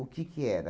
que que era?